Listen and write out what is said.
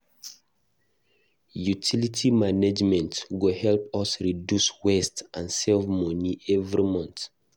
Utilities management go help us reduce waste and save money every month.